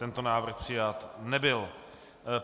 Tento návrh přijat nebyl.